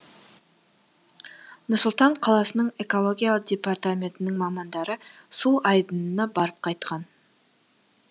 нұр сұлтан қаласының экология департаментінің мамандары су айдынына барып қайтқан